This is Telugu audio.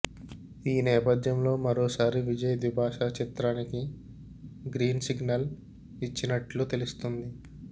ఈ నేపథ్యంలో మరోసారి విజయ్ ద్విభాషా చిత్రానికి గ్రీన్ సిగ్నల్ ఇచ్చినట్లు తెలుస్తుంది